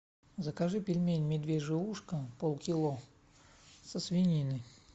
закажи пельмени медвежье ушко полкило со свининой